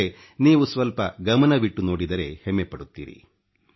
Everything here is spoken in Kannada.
ಆದರೆ ನೀವು ಸ್ವಲ್ಪ ಗಮನವಿಟ್ಟು ನೋಡಿದರೆ ಹೆಮ್ಮೆಪಡುತ್ತೀರಿ